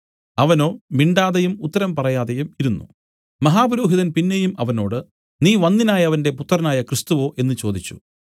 അവനോ മിണ്ടാതെയും ഉത്തരം പറയാതെയും ഇരുന്നു മഹാപുരോഹിതൻ പിന്നെയും അവനോട് നീ വന്ദ്യനായവന്റെ പുത്രനായ ക്രിസ്തുവോ എന്നു ചോദിച്ചു